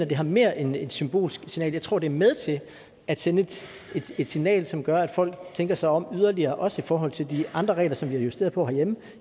det er mere end et symbolsk signal jeg tror det med til at sende et signal som gør at folk tænker sig om yderligere også i forhold til de andre regler som vi har justeret på herhjemme